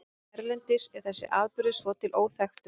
Erlendis er þessi atburður svo til óþekktur.